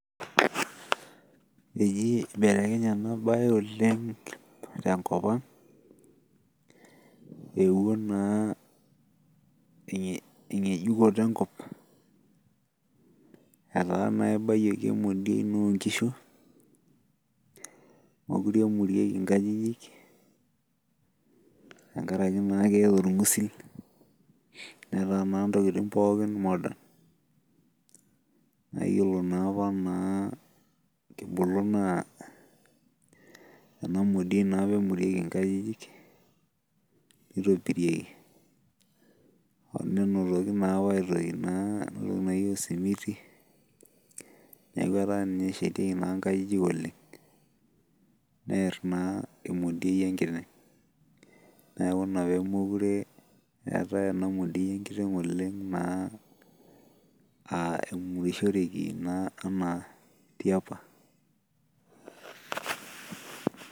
Eji ibelekenye ena bae oleng tenkop ang'.eewuo naa engejukoto enkop. etaa naa ibayioki emodiei oo nkishu, meekure nemirieki nkajijik. tenkaraki naa keeta olgusil. neeta naa intokitin pookin. modern etaa naa ena modiei naa apa emuriek, inkajijik. nitobirieki naa apa aitoki naa osimiti. neeku etaa naa ninye naa eshatieki nkajijik oleng. neer naa emodiei enkiteng'.neeki Ina pee meekure eetae ena modiei enkiteng' Oleng naa namuriahoreki naa tiapa.